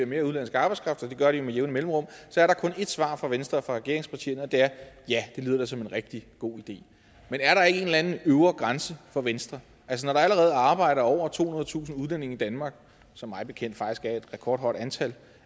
mere udenlandsk arbejdskraft og det gør de jo med jævne mellemrum så er der kun ét svar fra venstre og fra regeringspartierne og det er ja det lyder da som en rigtig god idé men er der ikke en eller anden øvre grænse for venstre når der allerede arbejder over tohundredetusind udlændinge i danmark som mig bekendt faktisk er et rekordhøjt antal